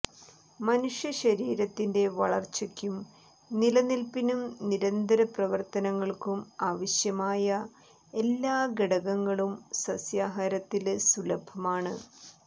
മനുഷ്യ ശരീരത്തിന്റെ വളര്ച്ചക്കും നിലനില്പ്പിനും നിരന്തര പ്രവര്ത്തനങ്ങള്ക്കും ആവശ്യമായ എല്ലാ ഘടകങ്ങളും സസ്യാഹാരത്തില് സുലഭമാണ്